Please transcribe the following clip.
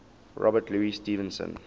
robert louis stevenson